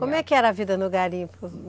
Como é que era a vida no garimpo?